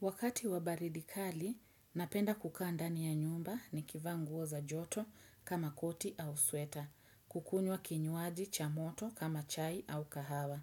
Wakati wa baridi kali, napenda kukaa ndani ya nyumba nikivaa nguo za joto kama koti au sweta, kukunywa kinywaji cha moto kama chai au kahawa.